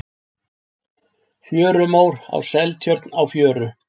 Fjörumór í Seltjörn á fjöru.